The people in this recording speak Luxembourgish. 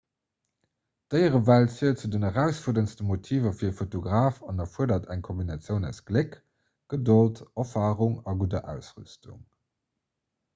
d'déierewelt zielt zu den erausfuerderndste motiver fir e fotograf an erfuerdert eng kombinatioun aus gléck gedold erfarung a gudder ausrüstung